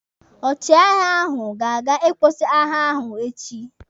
Ọchịagha ahụ ga-aga ịkwụsị agha ọ echi.